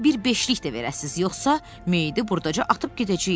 Gərək bir beşlik də verəsiz, yoxsa meyidi burdaca atıb gedəcəyik.